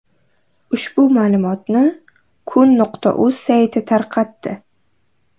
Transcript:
Ushbu ma’lumotni kun.uz sayti tarqatdi.